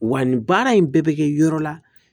Wa nin baara in bɛɛ bɛ kɛ yɔrɔ la